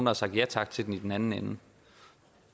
har sagt ja tak til den i den anden ende